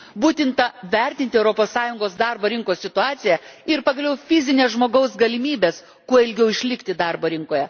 Būtina vertinti Europos Sąjungos darbo rinkos situaciją ir pagaliau fizines žmogaus galimybes kuo ilgiau išlikti darbo rinkoje.